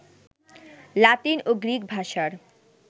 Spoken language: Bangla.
লাতিন ও গ্রিক ভাষার